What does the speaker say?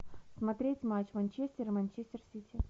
смотреть матч манчестер и манчестер сити